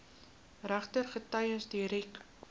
regter getuies direk